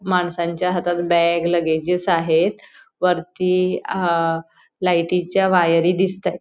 माणसांच्या हातात bag luggages आहेत वरती आह लाईटी च्या वायरी दिसताहेत.